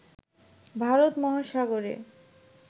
ভারত মহাসাগরে